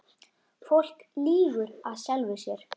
Fólk lýgur að sjálfu sér.